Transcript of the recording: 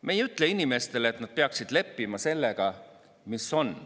Me ei ütle inimestele, et nad peaksid leppima sellega, mis on.